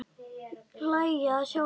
Hlæja að sjálfum sér.